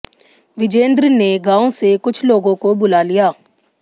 विजेंद्र ने गांव से कुछ लोगों को बुला लिया